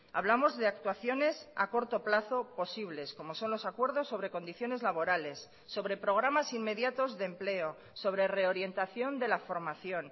hablamos de actuaciones a corto plazo posibles como son los acuerdos sobre condiciones laborales sobre programas inmediatos de empleo sobre reorientación de la formación